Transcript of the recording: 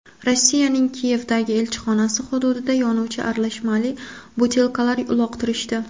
Rossiyaning Kiyevdagi elchixonasi hududiga yonuvchi aralashmali butilkalar uloqtirishdi.